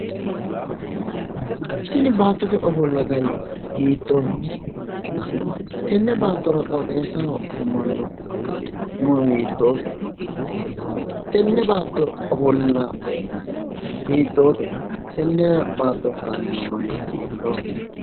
Tini baattote ofolla gari hiittooho? Tenne baattora qooxeessaho afamanno muro hiittoote? Tenne baatto ofolla hiittoote? Tenne baattora haranno manni hiittooho?